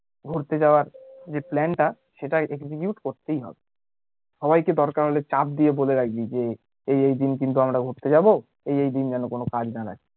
ঘুরতে যাওয়া যে plan টা সেটা execute করতেই হবে সবাইকে দরকার হলে চাপ দিয়ে বলে রাখবি যে এই এই দিন কিন্তু আমরা ঘুরতে যাবো এই এই দিন যেন কোনো কাজ না রাখে